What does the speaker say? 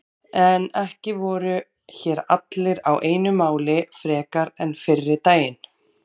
En ekki voru hér allir á einu máli frekar en fyrri daginn.